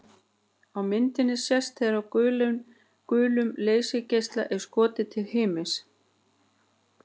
Á myndinni sést þegar gulum leysigeisla er skotið til himins.